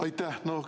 Aitäh!